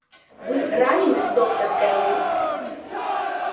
вы ранены доктор кэлвин